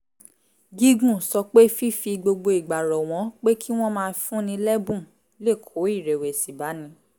gígùn sọ pé fífi gbogbo ìgbà rọ̀ wọ́n pé kí wọ́n máa fúnni lẹ́bùn lè kó ìrẹ̀wẹ̀sì báni